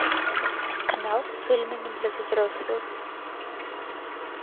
канал с фильмами для взрослых